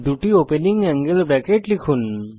দুটি opening angle bracket লিখুন